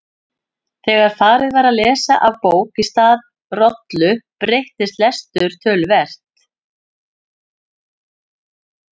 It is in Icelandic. Þegar farið var að lesa af bók í stað rollu breyttist lestur töluvert.